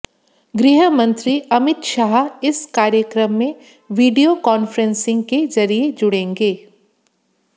गृह मंत्री अमित शाह इस कार्यक्रम में वीडियो कॉन्फ्रेंसिंग के जरिए जुड़ेंगे